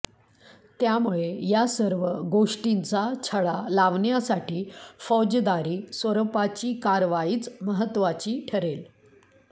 त्यामुळे या सर्व गोष्टींचा छडा लावण्यासाठी फौजदारी स्वरुपाची कारवाईच महत्त्वाची ठरेल